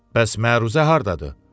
Bəs məruzə hardadır?